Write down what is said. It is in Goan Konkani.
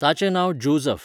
ताचें नांव जोझफ.